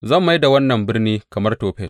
Zan mai da wannan birni kamar Tofet.